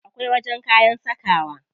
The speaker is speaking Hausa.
Akwai wajen kayan sakawa.